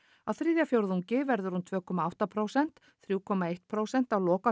á þriðja fjórðungi verður hún tvö komma átta prósent þrjú komma eitt prósent á